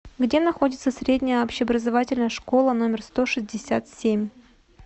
где находится средняя общеобразовательная школа номер сто шестьдесят семь